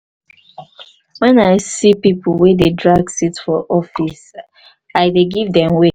wen i see pipo wey dey drag seat for office i dey give dem way.